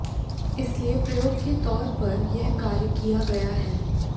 इसलिए प्रयोग के तौर पर यह कार्य किया गया है